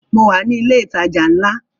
Mo wà ní ilẹ̀ ìtajà ńlá